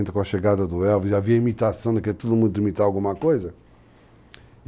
com a chegada do Elvis, havia imitação, daquilo que todo mundo ia imitar alguma coisa.